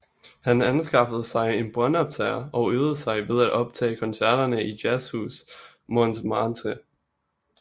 Han anskaffede sig en båndoptager og øvede sig ved at optage koncerterne i Jazzhus Montmartre